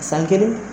San kelen